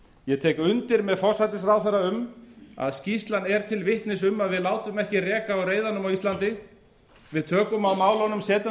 ég tek undir með forsætisráðherra um að skýrslan er til vitnis um að við látum ekki reka á reiðanum á íslandi við tökum á málunum setjum þau